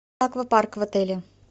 аквапарк в отеле